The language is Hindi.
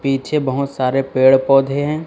पीछे बहोत सारे पेड़ पौधे हैं।